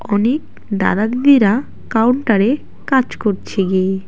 অনেক দাদা দিদিরা কাউন্টারে কাজ করছে গিয়ে।